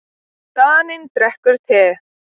Daninn drekkur te.